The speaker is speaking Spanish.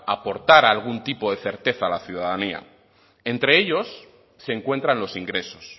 aportar algún tipo de certeza a la ciudadanía entre ellos se encuentran los ingresos